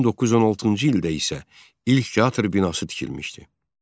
1916-cı ildə isə ilk teatr binası tikilmişdi.